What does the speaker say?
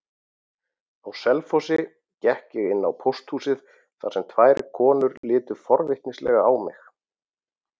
Á Selfossi gekk ég inn á pósthúsið þar sem tvær konur litu forvitnislega á mig.